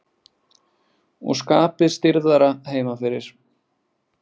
Og skapið stirðara heima fyrir.